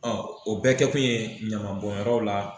o bɛɛ kɛkun ye ɲaman bɔnyɔrɔw la